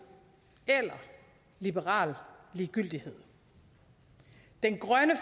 eller liberal ligegyldighed den grønne